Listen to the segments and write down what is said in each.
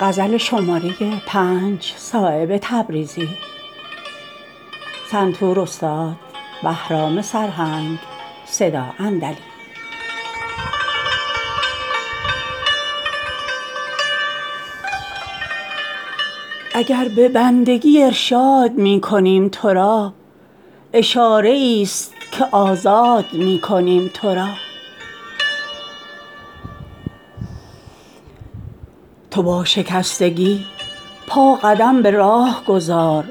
اگر به بندگی ارشاد می کنیم ترا اشاره ای است که آزاد می کنیم ترا تو با شکستگی پا قدم به راه گذار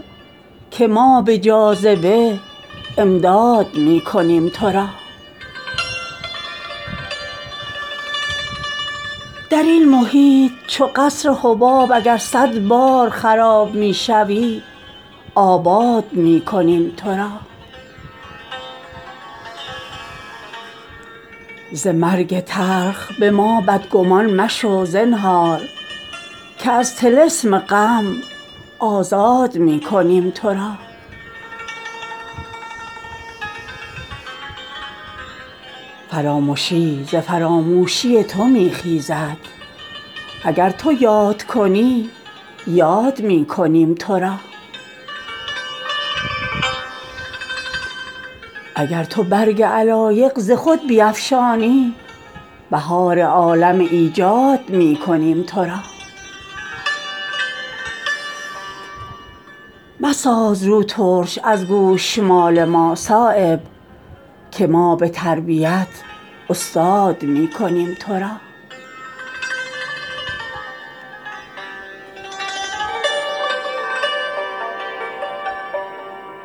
که ما به جاذبه امداد می کنیم ترا به دامنی که درین راه بر کمر بندی غنی ز راحله و زاد می کنیم ترا بشو به خون ز دل اندیشه رهایی را که گر عدم شوی ایجاد می کنیم ترا درین محیط چو قصر حباب اگر صد بار خراب می شوی آباد می کنیم ترا به تیغ غمزه دلت را کنیم اگر صد چاک به زلف شانه شمشاد می کنیم ترا ترا به جنت دربسته می شویم دلیل اگر به خامشی ارشاد می کنیم ترا ز شکر و شکوه مزن دم تو چون تنک ظرفان اگر غمین و اگر شاد می کنیم ترا ز مرگ تلخ به ما بدگمان مشو زنهار که از طلسم غم آزاد می کنیم ترا فرامشی ز فراموشی تو می خیزد اگر تو یاد کنی یاد می کنیم ترا اگر تو چشم بپوشی ز شاهدان مجاز غنی ز حسن خداداد می کنیم ترا اگر ز کوه غم ما گران نسازی روی ز خرمی فرح آباد می کنیم ترا چو ماهیان مشو از یاد کرد ما غافل وگرنه روزی صیاد می کنیم ترا اگر تو برگ علایق ز خود بیفشانی بهار عالم ایجاد می کنیم ترا نوازشی است زبان را نه از فراموشی است اگر گهی به زبان یاد می کنیم ترا ندیده ایم به این لطف آدمی چه عجب اگر غلط به پریزاد می کنیم ترا مساز رو ترش از گوشمال ما صایب که ما به تربیت استاد می کنیم ترا